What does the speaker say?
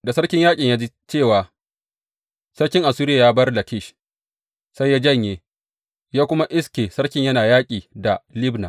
Da sarkin yaƙin ya ji cewa sarkin Assuriya ya bar Lakish, sai ya janye, ya kuma iske sarkin yana yaƙi da Libna.